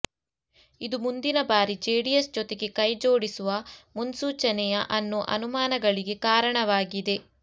ಇದು ಮುಂದಿನ ಬಾರಿ ಜೆಡಿಎಸ್ ಜೊತೆಗೆ ಕೈ ಜೋಡಿಸುವ ಮುನ್ಸೂಚನೆಯಾ ಅನ್ನೋ ಅನುಮಾನಗಳಿಗೆ ಕಾರಣವಾಗಿದೆ